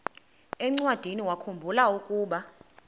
encwadiniwakhu mbula ukuba